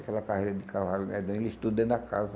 Aquela carreira de cavalo medonha, eles tudo dentro da casa.